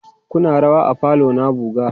Kuna rawa a falo na buga?